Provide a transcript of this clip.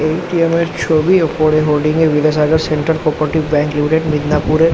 এ .T .M . -এর ছবি ওপরে হোডিং -এ বিদ্যাসাগর সেন্টার কো-অপারেটিভ -এ ব্যাঙ্ক লিমিটেড মিডনাপুরে ।